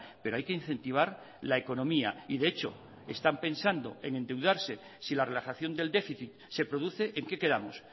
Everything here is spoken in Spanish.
pero hay que incentivar la economía y de hecho están pensando en endeudarse si la relajación del déficit se produce en qué quedamos